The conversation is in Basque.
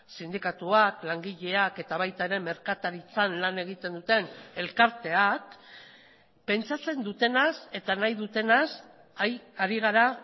sindikatuak langileak eta baita ere merkataritzan lan egiten duten elkarteak pentsatzen dutenaz eta nahi dutenaz ari gara